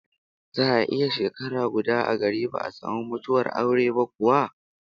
Za'a iya shekara guda a gari ba'a samu mutuwar aure ba kuwa?